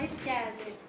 Buyur, gəldi.